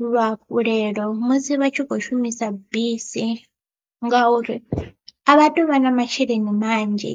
luhafhulelo musi vha tshi kho shumisa bisi, ngauri a vha tu vha na masheleni manzhi.